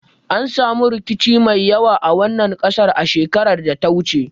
An samu rikici mai yawa a wannan kasar a shekarar da ta wuce